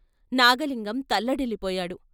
Nagalingam తల్లడిల్లిపోయాడు.